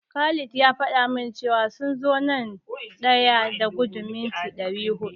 Khalil ya faɗa min cewa sun zo na daya a gudun mita dari hudu.